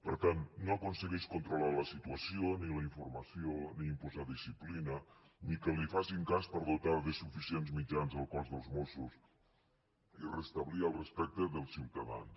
per tant no aconsegueix controlar la situació ni la informació ni imposar disciplina ni que li facin cas per dotar de suficients mitjans el cos dels mossos i restablir el respecte dels ciutadans